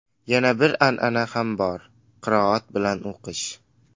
Yana boshqa an’ana ham bor: qiroat bilan o‘qish.